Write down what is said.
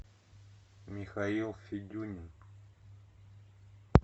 михаил федюнин